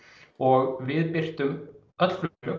og við birtum öll